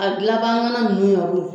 A gilanbaga ŋana numu